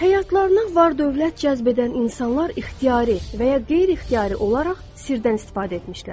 Həyatlarına var-dövlət cəzb edən insanlar ixtiyari və ya qeyri-ixtiyari olaraq sirdən istifadə etmişlər.